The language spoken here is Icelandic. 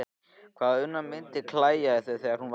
Hvað hana mundi klæja í þau þegar hún vaknaði!